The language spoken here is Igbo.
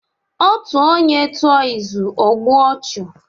Otú onye tụọ izù, ọ gbuo ọchụ.